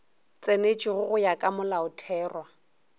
tsenetšwego go ya ka molaotherwa